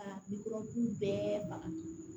A bi kurabu bɛɛ faga